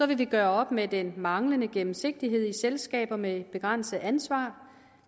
vi gøre op med den manglende gennemsigtighed i selskaber med begrænset ansvar